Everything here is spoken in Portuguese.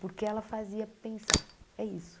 Porque ela fazia pensar, é isso.